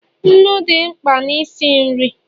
nnu dị mkpa na isi nri